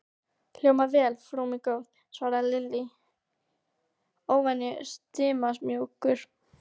Hljómar vel, frú mín góð svaraði Lilli, óvenju stimamjúkur.